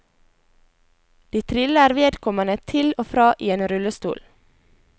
De triller vedkommende til og fra i en rullestol.